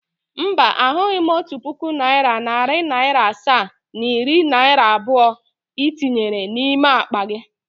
Mba, ahụghị m otu puku naịra, nari naira asaa na iri naira abụọ i tinyere n’ime akpa gị